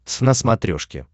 твз на смотрешке